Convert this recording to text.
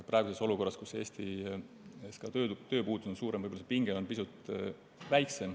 Praeguses olukorras, kus Eestis on tööpuudus mõnevõrra suurem, on see pinge võib-olla pisut väiksem.